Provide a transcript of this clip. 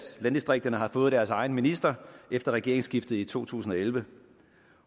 landdistrikterne har fået deres egen minister efter regeringsskiftet i to tusind og elleve